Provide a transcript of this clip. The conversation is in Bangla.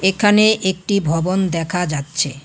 এখানে একটি ভবন দেখা যাচ্ছে।